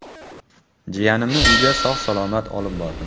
Jiyanimni uyga sog‘-salomat olib bordim.